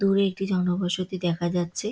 দূরে একটি জন বসতি দেখা যাচ্ছে।